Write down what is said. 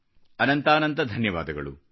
ಅನಂತಾನಂತ ಧನ್ಯವಾದಗಳು